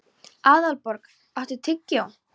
Aðalborgar, áttu tyggjó?